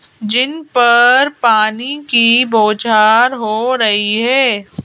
जिन पर पानी की बौछार हो रही है।